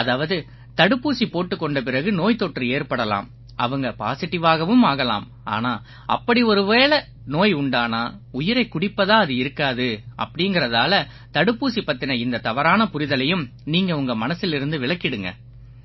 அதாவது தடுப்பூசி போட்டுக் கொண்ட பிறகு நோய்த்தொற்று ஏற்படலாம் அவங்க பாசிடிவாகவும் ஆகலாம் ஆனா அப்படி ஒருவேளை நோய் உண்டானா உயிரைக் குடிப்பதா அது இருக்காது அப்படீங்கறதால தடுப்பூசி பத்தின இந்தத் தவறான புரிதலையும் நீங்க உங்க மனசிலிருந்து விலக்கிடுங்க